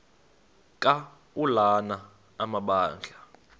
ka ulana amabandla